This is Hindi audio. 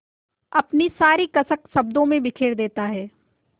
अपनी सारी कसक शब्दों में बिखेर देता है